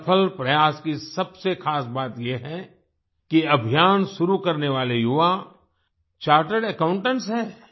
इस सफल प्रयास की सबसे ख़ास बात ये है कि अभियान शुरू करने वाले युवा चार्टर्ड अकाउंटेंट्स हैं